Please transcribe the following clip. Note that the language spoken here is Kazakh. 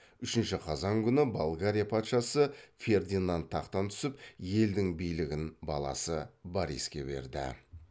үшінші қазан күні болгария патшасы фердинад тақтан түсіп елдің билігін баласы бориске берді